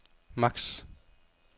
maks